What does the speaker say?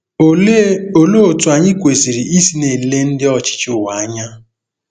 Olee Olee otú anyị kwesịrị isi na-ele ndị ọchịchị ụwa anya?